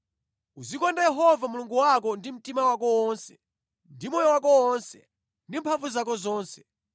Uzikonda Yehova Mulungu wako ndi mtima wako wonse, ndi moyo wako wonse, ndi mphamvu zako zonse.